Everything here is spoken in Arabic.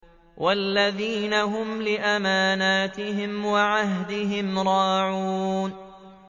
وَالَّذِينَ هُمْ لِأَمَانَاتِهِمْ وَعَهْدِهِمْ رَاعُونَ